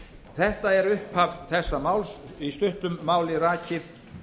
þetta er upphaf þessa máls í stuttum máli rakið